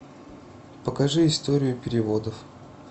покажи историю переводов